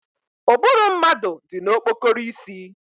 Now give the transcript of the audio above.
Ụbụrụ mmadụ dị na okpokoro isi